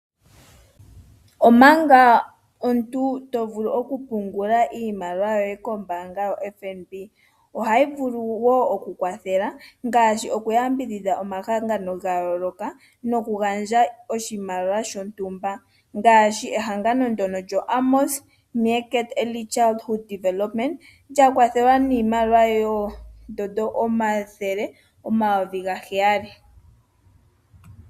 Omanga omuntu to vulu okupungula iimaliwa yoye kombaanga yoFNB, ohayi vulu wo okukwathela ngaashi okuyambidhidha omahangano ga yooloka nokugandja oshimaliwa shontumba ngaashi ehangano ndyoka lyoAmos Meerkat Early Choldhood Development lya kwathelwa niimaliwa ooN$ 700 000.00.